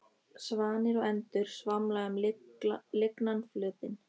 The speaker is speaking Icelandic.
Svanir og endur svamla um lygnan flötinn.